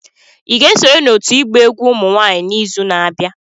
Ị ga-esonye n'òtù ịgba egwu ụmụ nwanyị n'izu na-abịa